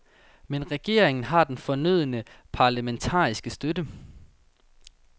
Men regeringen har den fornødne parlamentariske støtte.